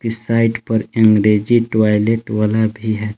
इस साइड पर अंग्रेजी टॉयलेट वाला भी है।